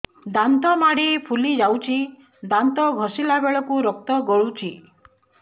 ଦାନ୍ତ ମାଢ଼ୀ ଫୁଲି ଯାଉଛି ଦାନ୍ତ ଘଷିଲା ବେଳକୁ ରକ୍ତ ଗଳୁଛି